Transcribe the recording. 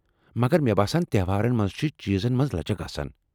مگر مےٚ باسان تہوارن منٛز چھِ چیزن منز لچك آسان ۔